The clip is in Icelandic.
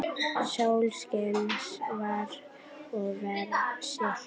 Sólskin var og veður stillt.